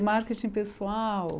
Com marketing pessoal.